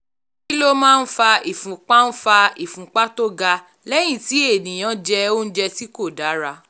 kí ló máa ń fa ìfúnpá ń fa ìfúnpá tó ga lẹ́yìn tí ènìyàn jẹ oúnjẹ tí kò dára?